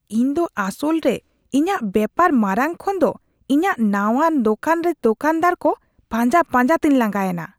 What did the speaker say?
ᱤᱧᱫᱚ ᱟᱥᱚᱞᱨᱮ ᱤᱧᱟᱹᱜ ᱵᱮᱯᱟᱨ ᱢᱟᱨᱟᱝ ᱠᱷᱚᱱᱫᱚ ᱤᱧᱟᱹᱜ ᱱᱟᱶᱟ ᱫᱳᱠᱟᱱᱨᱮ ᱫᱳᱠᱟᱱᱫᱟᱨ ᱠᱚ ᱯᱟᱸᱡᱟ ᱯᱟᱸᱡᱟᱛᱮᱧ ᱞᱟᱸᱜᱟ ᱮᱱᱟ ᱾